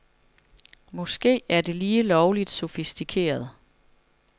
Måske er det lige lovligt sofistikeret.